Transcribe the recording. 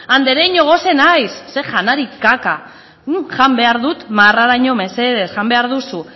andereño gose naiz ze janari kaka non jan behar dut marraraino mesedez jan behar duzu